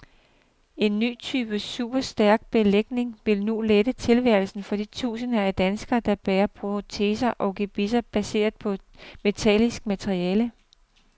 En ny type superstærk belægning vil nu lette tilværelsen for de tusinder af danskere, der bærer proteser og gebisser baseret på metallisk materiale.